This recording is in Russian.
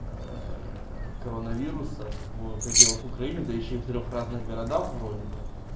коронавируса в пределах украины дающие в трёх разных городах вроде бы